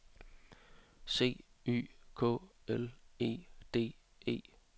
C Y K L E D E